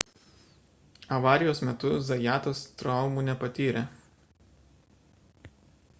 avarijos metu zajatas traumų nepatyrė